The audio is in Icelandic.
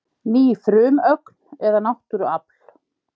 Ný frumögn eða náttúruafl